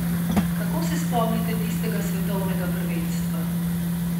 Kako se spomnite tistega svetovnega prvenstva?